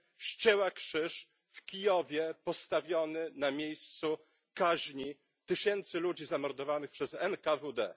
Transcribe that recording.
ścięła krzyż w Kijowie postawiony na miejscu kaźni tysięcy ludzi zamordowanych przez NKWD.